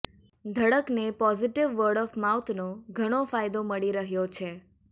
Dhadakne positive word of માઉથનો ઘણો ફાયદો મળી રહ્યો છે